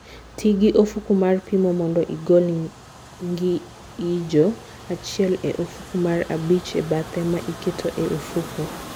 Ti gi ofuku mar pimo mondo igol ng'injo achiel e ofuku mar abich e bathe ma iketo e ofuku